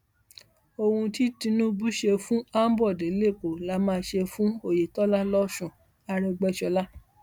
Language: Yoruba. ohun tí tinubu ṣe fún ambode lẹkọọ la máa ṣe fún oyetola lọsùn àrègbèsọla